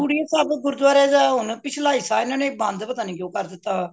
ਬੁੜੀਏ ਸਾਹਿਬ ਗੁਰੂਦੁਆਰੇ ਦਾ ਪਿਛਲਾ ਹਿੱਸਾ ਹੁਣ ਬੰਦ ਪਤਾ ਨਹੀਂ ਕਯੋ ਕਰ ਦਿੱਤਾ ਏ